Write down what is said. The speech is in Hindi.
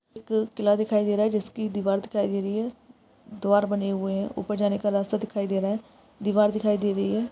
एक किला दिखाई दे रहा है जिसकी की दीवार दिखाई दे रही है द्वार बने हुए है ऊपर जाने का रास्ता दिखाई दे रहा है दीवार दिखाई दे रही है।